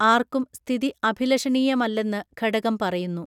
ആർക്കും സ്ഥിതി അഭിലഷണീയമല്ലെന്ന് ഘടകം പറയുന്നു